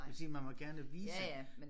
Det vil sige man må gerne vise